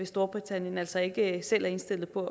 storbritannien altså ikke selv er indstillet på